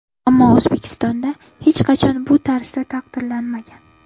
Ammo O‘zbekistonda hech qachon bu tarzda taqdirlanmagan.